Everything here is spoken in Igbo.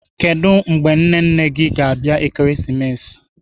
Kedụ mgbe nne nne gị ga-abịa Ekeresimesi?